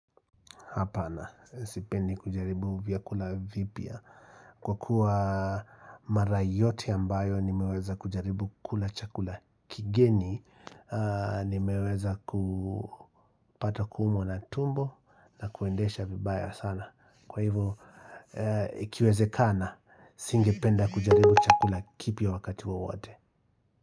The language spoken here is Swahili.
Hapana, sipendi kujaribu vyakula vipya. Kwa kuwa mara yote ambayo nimeweza kujaribu kula chakula kigeni, nimeweza kupata kuumwa na tumbo na kuendesha vibaya sana. Kwa hivo, ikiwezekana, singependa kujaribu chakula kipya wakati wowote.